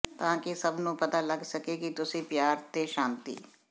ਤਾਂ ਕਿ ਸੱਭ ਨੂੰ ਪਤਾ ਲਗ ਸਕੇ ਕਿ ਤੁਸੀਂ ਪਿਆਰ ਤੇ ਸ਼ਾਂਤੀ